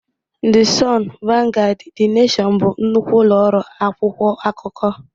The Sun, Vanguard, The Nation bụ nnukwu ụlọ ọrụ akwụkwọ akụkọ.